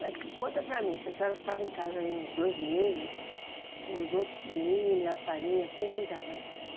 Mas conta para mim, se a senhora ficava em casa aí uns dois meses, os outros menino e a farinha, quem cuidava disso?